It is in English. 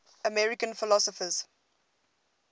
american philosophers